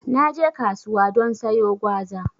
Naje kasuwa don sayo gwaza